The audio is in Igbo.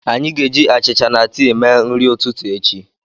Anyị ga-eji achịcha na tii mee nri ụtụtụ echi.